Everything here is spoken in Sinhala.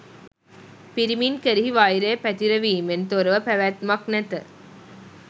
පිරිමින් කෙරෙහි වෛරය පැතිරවීමෙන් තොරව පැවැත්මක් නැත